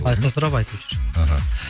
айқын сұрап айтып жүр іхі